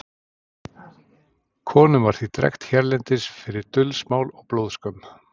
konum var því drekkt hérlendis fyrir dulsmál og blóðskömm